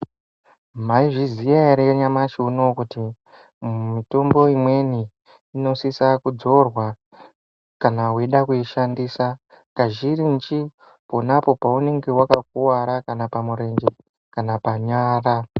Maizviziya yere nyamashi uno uyu kuti mutombo imweni inosisa kudzorwa kana weida kuishandisa kazhinji ponapo paunonga wakakuvara kana pamurenje kana panyara .